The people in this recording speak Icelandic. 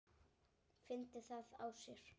Fyndi það á sér.